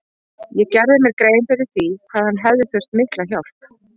Ég gerði mér grein fyrir því hvað hann hefði þurft mikla hjálp.